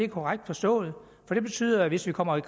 korrekt forstået for det betyder at hvis vi kommer